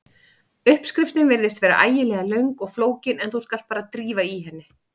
Uppskriftin virðist vera ægilega löng og flókin en þú skalt bara drífa í henni.